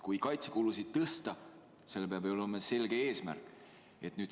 Kui kaitsekulusid tõsta, siis sellel peab ju olema selge eesmärk.